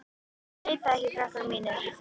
Ég veit það ekki, krakkar mínir.